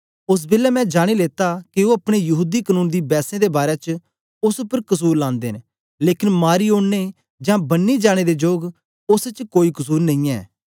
ओस बेलै मैं जानी लेता के ओ अपने यहूदी कनून दी बैसें दे बारै च ओस उपर कसुर लांदे न लेकन मारी ओड़ने जां बन्नी जाने दे जोग ओस च कोई कसुर नेईयैं